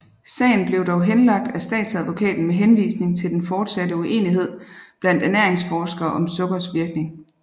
Sagen blev dog henlagt af statsadvokaten med henvisning til den fortsatte uenighed blandt ernæringsforskere om sukkers virkning